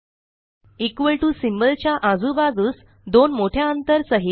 equal to symbol च्या आजूबाजूस दोन मोठ्या अंतर सहित